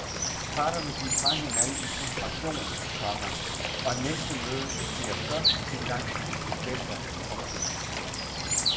Parterne gik fra hinanden i frustration, komma og næste møde bliver først engang i september. punktum